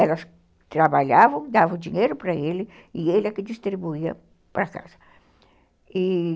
Elas trabalhavam, davam dinheiro para ele e ele é que distribuía para casa, e